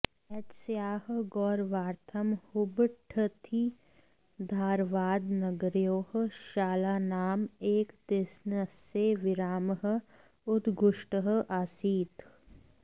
एतस्याः गौरवार्थं हुब्बळ्ळिधारवाडनगरयोः शालानाम् एकदिस्नस्य विरामः उद्घुष्टः आसीत्